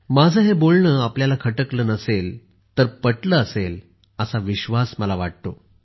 माझे हे बोलणे आपल्याला खटकले नसेल तर पटले असेल असा विश्वास मला वाटतो